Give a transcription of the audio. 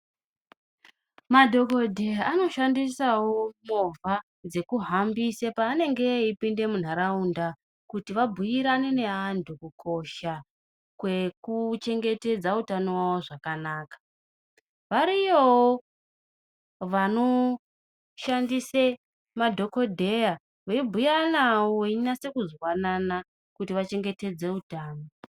Madhokodheya anoshandisawo movha dzekuhambise paanenge eipinde munharaunda kuti abhuyirane neantu kukosha kwekuchengetedza utano wawo zvakanaka. Variyovo vanoshandise madhokodheya veibhuya navo, veinase kunwanana kuti vachengetedze utano.